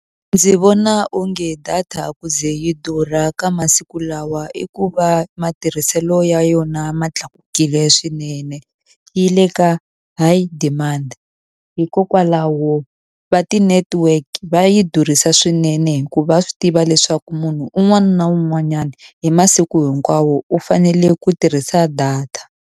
Ndzi vona onge data ku ze yi durha ka masiku lawa i ku va matirhiselo ya yona ma tlakukile swinene. Yi le ka high demand hikokwalaho va ti-network va yi durhisa swinene hikuva va swi tiva leswaku munhu un'wana na un'wanyana hi masiku hinkwawo u fanele ku tirhisa data.